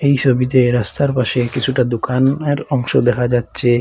এই সোবিতে রাস্তার পাশে কিছুটা দুকানের অংশ দেখা যাচ্ছে।